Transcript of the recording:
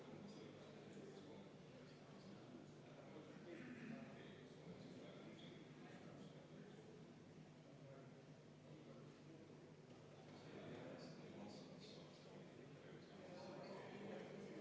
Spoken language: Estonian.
Liigume edasi üheksanda muudatusettepanekuni, mille on teinud Sotsiaaldemokraatliku Erakonna fraktsioon ja eraldi esitas ka Sven Sester ja see on arvestatud täielikult.